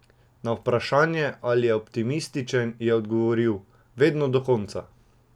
Na vprašanje, ali je optimističen, je odgovoril: "Vedno, do konca".